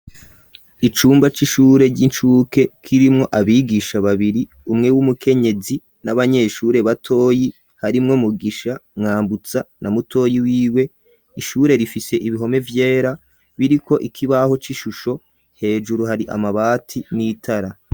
Icumba c'ishure ry'incuke kirimwo abigisha babiri umwe w'umukenyezi n'abanyeshure batoyi harimwo mugisha mwambutsa na mutoyi w'iwe ishure rifise ibihome vyera biriko ikibaho c'ishusho hejuru hari amabati n'itara.